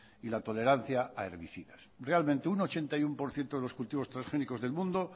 y la tolerancia a herbicidas realmente un ochenta y uno por ciento de los cultivos transgénicos del mundo